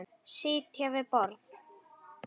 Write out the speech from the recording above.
Sitja við borð